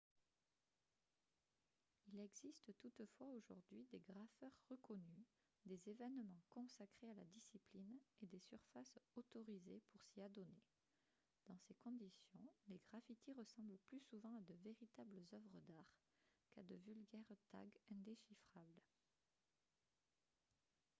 il existe toutefois aujourd'hui des graffeurs reconnus des événements consacrés à la discipline et des surfaces « autorisées » pour s'y adonner. dans ces conditions les graffitis ressemblent plus souvent à de véritables œuvres d'art qu'à de vulgaires tags indéchiffrables